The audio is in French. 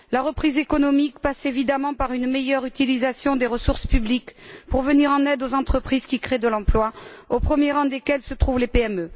La reprise économique passe, évidemment, par une meilleure utilisation des ressources publiques pour venir en aide aux entreprises qui créent de l'emploi, au premier rang desquelles se trouvent les PME.